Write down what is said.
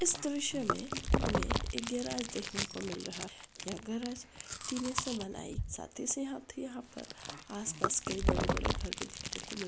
इस दृश्य में हमें एक गेराज दिख नो का मिल रहा है यह गरज तिने से बनाई गई है साथी से हाथ यहाँ पर आस पास कई बड़े बड़े घर देखने को मिल रहा है।